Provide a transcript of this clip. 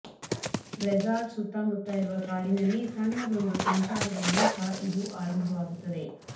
resort ಸುತ್ತಮುತ್ತ ಇರುವ ಕಾಡಿನಲ್ಲಿ ಸಣ್ಣದೊಂದು ಸಂಚಾರದ ಮೂಲಕ ಇದು ಆರಂಭವಾಗುತ್ತದೆ